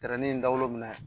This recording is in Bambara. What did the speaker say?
dawolo minɛ